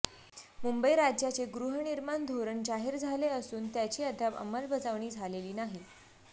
मुंबई राज्याचे गृहनिर्माण धोरण जाहीर झाले असून त्याची अद्याप अंमलबजावणी झालेली नाही